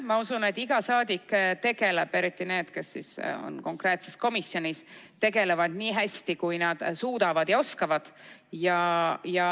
Ma usun, et iga saadik töötab konkreetses komisjonis nii hästi, kui ta suudab ja oskab.